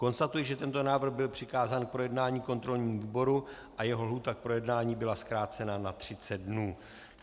Konstatuji, že tento návrh byl přikázán k projednání kontrolnímu výboru a jeho lhůta k projednání byla zkrácena na 30 dnů.